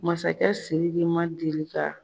Masakɛ Siriki man deli ka